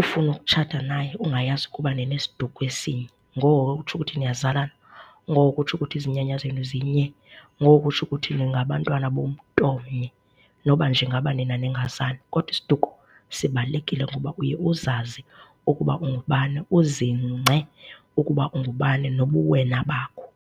ufune ukutshata naye ungayazi ukuba ninesiduko esinye. Ngoko ke kutsho ukuthi niyazalana, ngoko ukutsho ukuthi izinyanya zenu zinye, ngoko ukutsho kuthi ningabantwana bomntu omnye noba nje ngaba nina ningazani. Kodwa isiduko sibalulekile ngoba uye uzazi ukuba ungubani, uzingce ukuba ungubani nobuwena bakho.